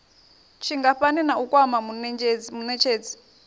tshingafhani na u kwama munetshedzi